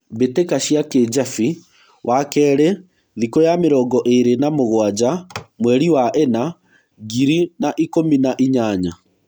mbĩtĩka cia Kĩjabi .Wakerĩ thĩkũya mĩrongo ĩrĩ na mũgwaja mweri wa ĩna, ngiri na ikũmi na inyanya.